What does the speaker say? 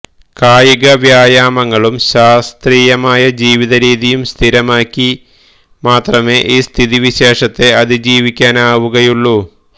കായിക വ്യായാമങ്ങളും ശാസ്ത്രീയമായ ജീവിത രീതിയും സ്ഥിരമാക്കി മാത്രമേ ഈ സ്ഥിതി വിശേഷത്തെ അതിജീവിക്കാനാവുകയുള്ളൂ